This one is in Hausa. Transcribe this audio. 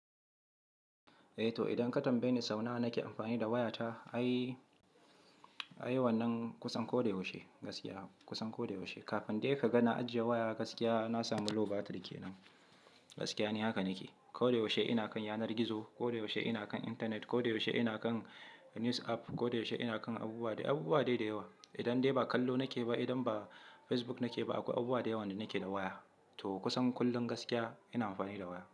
Eh to idan katanbayeni sau nawa nake amfani da wayata ai, ai wannan kusan koda yaushe gaskiya kusan koda yaushe. Kafin dai ka ga na ajiye waya gaskiya na sami low battery kenan. Gaskiya ne haka nake. Koda yaushe ina kan yanar gizo, koda yaushe ina kan intanet, koda yaushe ina kan news app, koda yaushe ina kan abubuwa, abubuwa dai da yawa. Idan dai ba kallo nake ba, idan ba Facebook nake ba, akwai abubuwa da yawa da nake da waya. To kusan kullum gaskiya ina amfani da waya.